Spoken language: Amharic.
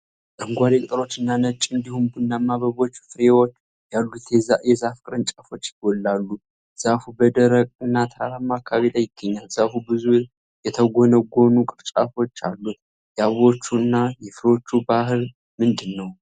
አረንጓዴ ቅጠሎች እና ነጭ እንዲሁም ቡናማ አበቦች/ፍሬዎች ያሉት የዛፍ ቅርንጫፎች ይጎላሉ። ዛፉ በ ደረቅ እና ተራራማ አከባቢ ላይ ይገኛል። ዛፉ ብዙ የተጎነጎኑ ቅርንጫፎች አሉት። የአበቦቹ እና የፍሬዎቹ ባሕርይ ምንድን ነው?